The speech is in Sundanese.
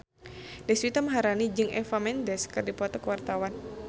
Deswita Maharani jeung Eva Mendes keur dipoto ku wartawan